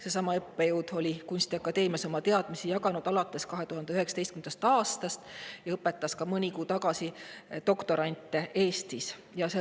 Seesama õppejõud on kunstiakadeemias oma teadmisi jaganud 2019. aastast alates ja õpetas Eestis doktorante ka mõni kuu tagasi.